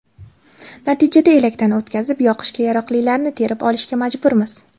Natijada elakdan o‘tkazib, yoqishga yaroqlilarini terib olishga majburmiz.